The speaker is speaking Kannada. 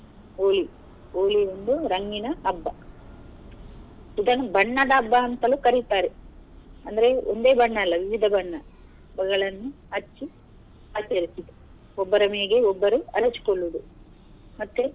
Holi, Holi ಒಂದು ರಂಗಿನ ಹಬ್ಬ ಇದನ್ನು ಬಣ್ಣದ ಹಬ್ಬ ಅಂತಲೂ ಕರೀತಾರೆ ಅಂದ್ರೆ ಒಂದೇ ಬಣ್ಣ ಅಲ್ಲ ವಿವಿಧ ಬಣ್ಣಗಳನ್ನೂ ಹಚ್ಚಿ ಆಚರಿಸುದು ಒಬ್ಬರ ಮೈಗೆ ಒಬ್ಬರು ಎರಚು ಕೊಳ್ಳುದು ಮತ್ತೆ.